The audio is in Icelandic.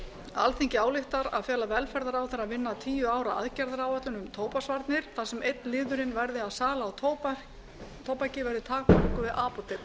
alþingi ályktar að fela velferðarráðherra að vinna tíu ára aðgerðaáætlun um tóbaksvarnir þar sem einn liðurinn verði að sala á tóbaki verði takmörkuð við apótek